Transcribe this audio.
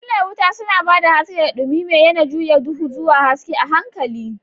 Fitilar wuta suna ba da haske, da dumi mai yana juya duhu zuwa haske a' hankali.